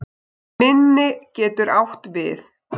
Minni getur átt við